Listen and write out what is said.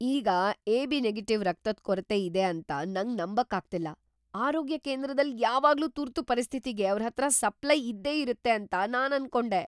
ಈಗ AB- negative ರಕ್ತದ್ ಕೊರತೆ ಇದೆ ಅಂತ ನಂಗ್ ನಂಬಕ್ ಆಗ್ತಿಲ್ಲ. ಆರೋಗ್ಯ ಕೇಂದ್ರದಲ್ ಯಾವಾಗ್ಲೂ ತುರ್ತು ಪರಿಸ್ಥಿತಿಗೆ ಅವ್ರತ್ರ ಸಪ್ಲಯ್ ಇದ್ದೆ ಇರುತ್ತೆ ಅಂತ ನಾನ್ ಅನ್ಕೊಂಡೆ.